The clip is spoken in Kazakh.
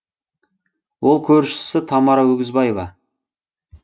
ол көршісі тамара өгізбаева